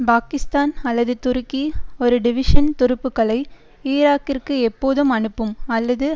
பாகிஸ்தான் அல்லது துருக்கி ஒரு டிவிஷன் துருப்புக்களை ஈராக்கிற்கு எப்போதும் அனுப்பும் அல்லது